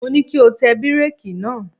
Mo ní kí o tẹ bíréèkì náà!